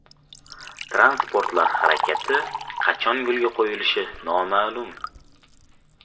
Transportlar harakati qachon yo‘lga qo‘yilishi noma’lum.